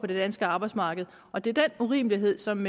det danske arbejdsmarked og det er den urimelighed som